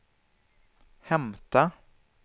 hämta